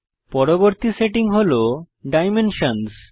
পরবর্তী সেটিং আমরা দেখব ডাইমেনশনসহ